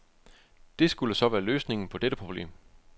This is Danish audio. Det skulle så være løsningen på dette problem.